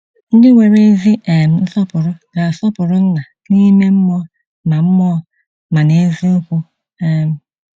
Ndị nwere ezi um nsọpụrụ ga-asọpụrụ Nna, n'ime mmụọ ma mmụọ ma na eziokwu. um